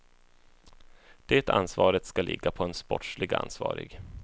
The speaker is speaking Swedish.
Det ansvaret ska ligga på en sportsligt ansvarig.